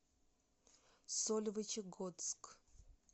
сольвычегодск